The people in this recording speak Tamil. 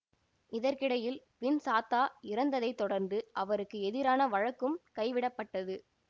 இதற்கிடையில் வின் சாத்தா இறந்ததைத் தொடர்ந்து அவருக்கு எதிரான வழக்கும் கைவிடப்பட்டது